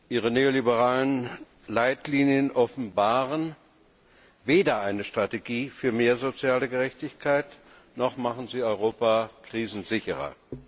Ihre neoliberalen Leitlinien offenbaren weder eine Strategie für mehr soziale Gerechtigkeit, noch machen sie Europa krisensicherer.